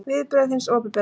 Viðbrögð hins opinbera